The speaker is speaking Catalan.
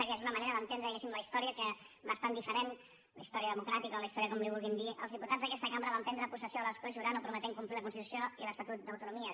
que és una manera d’entendre diguéssim la història bastant diferent la història democràtica o la història com li vulguin dir els diputats d’aquesta cambra van prendre possessió de l’escó jurant o prometent complir la constitució i l’estatut d’autonomia